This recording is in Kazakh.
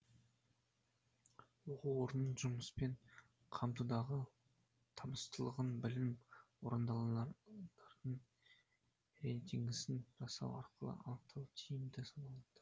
оқу орнының жұмыспен қамтудағы табыстылығын білім ордаларының рейтингісін жасау арқылы анықтау тиімді саналады